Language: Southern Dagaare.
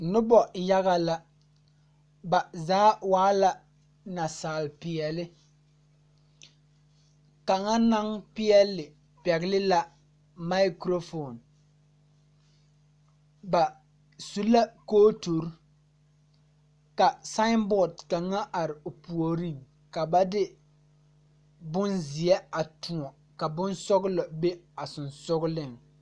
Nobɔ yaga la ba zaa waa la naasaal peɛɛle kaŋa naŋ peɛɛle pɛgle la maakurofoon ba su la kooturre ka sããnbɔɔd kaŋa are o puoriŋ ka ba de bonzeɛ a tõɔ ka bonsɔglɔ be a sensugliŋ.